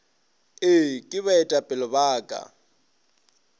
ee ke baetapele ba ka